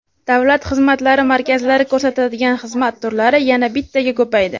Davlat xizmatlari markazlari ko‘rsatadigan xizmat turlari yana bittaga ko‘paydi.